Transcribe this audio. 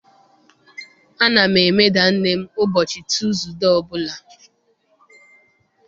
Ana m emeda nne m ụbọchị Tuuzude ọbụla